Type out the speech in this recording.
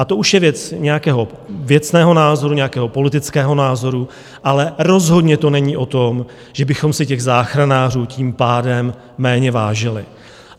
A to už je věc nějakého věcného názoru, nějakého politického názoru, ale rozhodně to není o tom, že bychom si těch záchranářů tím pádem méně vážili.